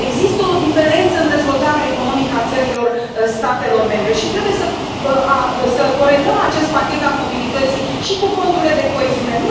Există o diferență în dezvoltarea economică a țărilor statelor membre și trebuie să corelăm acest pachet al mobilității și cu fondurile de coeziune.